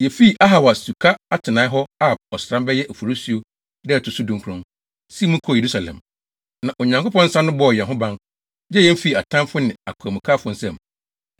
Yefii Ahawa Suka atenae hɔ Ab ɔsram (bɛyɛ Oforisuo) da a ɛto so dunkron, sii mu kɔɔ Yerusalem. Na Onyankopɔn nsa no bɔɔ yɛn ho ban, gyee yɛn fii atamfo ne akwamukafo nsam.